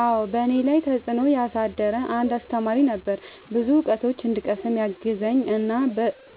አዎ በእኔ ላይ ተፅእኖ ያሳደረ አንድ አሰተማሪ ነበረ። ብዙ እውቀቶችን እንድቀስም ያገዘኝ እና